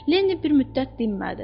Lenni bir müddət dinmədi.